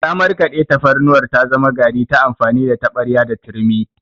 Ta markaɗe tafarnuwar ta zama gari ta amfani da taɓarya da turmi.